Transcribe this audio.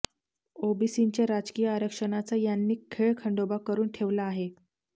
ओबीसींच्या राजकीय आरक्षणाचा यांनी खेळखंडोबा करुन ठेवला आहे